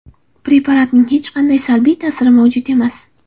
Preparatning hech qanday salbiy ta’siri mavjud emas.